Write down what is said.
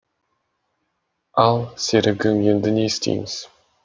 ал серігім енді не істейміз